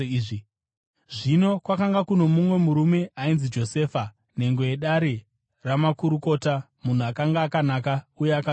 Zvino kwakanga kuno mumwe murume ainzi Josefa, nhengo yedare ramakurukota, munhu akanga akanaka uye akarurama,